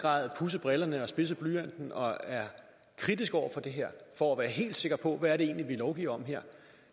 grad pudset brillerne og spidset blyanten og er kritisk over for det her for at være helt sikker på hvad det egentlig er vi lovgiver om